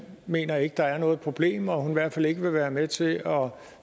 mener at der er noget problem og i hvert fald ikke vil være med til at